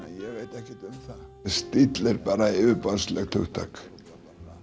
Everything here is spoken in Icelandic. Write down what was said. ég veit ekkert um það stíll er bara yfirborðslegt hugtak